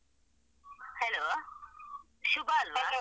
Hello ಶುಭ ಅಲ್ವಾ?